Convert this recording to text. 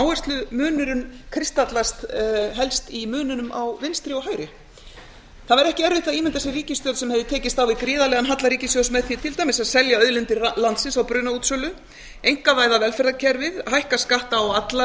áherslumunurinn kristallast helst í muninn á vinstri og hægri það var ekki erfitt að ímynda sér ríkisstjórn sem hefur tekist á við gríðarlegan halla ríkissjóðs með því til dæmis að selja auðlindir landsins á brunaútsölu einkavæða velferðarkerfið hækka skatta á alla